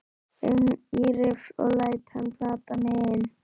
un í riffil og læt hann plata mig inn.